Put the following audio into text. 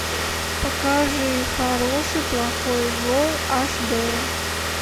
покажи хороший плохой злой аш д